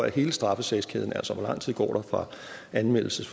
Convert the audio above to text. hele straffesagskæden altså hvor lang tid der går fra anmeldelse